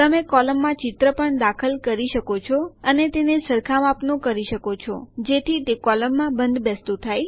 તમે કોલમમાં ચિત્ર પણ દાખલ કરી શકો છો અને તેને સરખા માપનું કરી શકો છો જેથી તે કોલમમાં બંધબેસતું થાય